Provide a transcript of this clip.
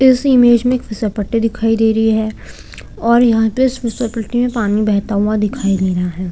इस इमेज में एक फिसलपट्टी दिखाई दे रही है और यहाँ पे इस फिसलपट्टी में पानी बहता हुआ दिखाई दे रहा है।